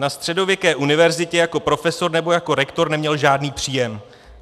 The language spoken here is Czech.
Na středověké univerzitě jako profesor nebo jako rektor neměl žádný příjem.